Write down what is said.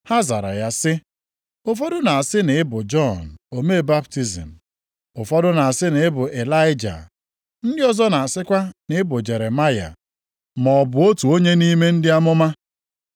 Ha zara ya sị, “Ụfọdụ na-asị na ị bụ Jọn omee baptizim, ụfọdụ na-asị na ị bụ Ịlaịja, ndị ọzọ na-asịkwa na ị bụ Jeremaya, maọbụ otu nʼime ndị amụma.”